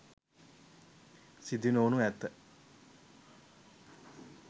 සිදුනොවනු ඇත